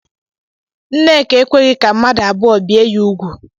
Nneka ekweghị ka mmadụ abụọ bie ya úgwù.